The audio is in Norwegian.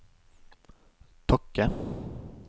Tokke